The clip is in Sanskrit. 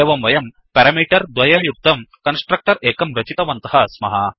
एवं वयं पेरामीटर् द्वययुक्तं कन्स्ट्रक्टर् एकं रचितवन्तः स्मः